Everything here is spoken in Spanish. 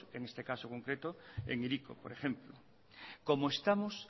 en este caso concreto en hiriko por ejemplo como estamos